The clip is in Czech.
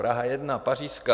Praha 1, Pařížská.